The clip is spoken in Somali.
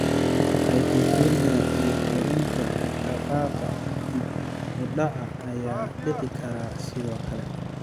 Hypotonia iyo korriinka dhaqdhaqaaqa dib u dhaca ayaa dhici kara, sidoo kale.